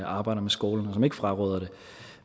arbejder med skolen og som ikke fraråder det